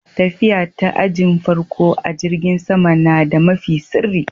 Tafiya ta ajin farko a'jirigin sama na da mafi sirri.